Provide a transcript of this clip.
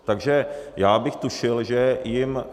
Takže já bych tušil, že jim...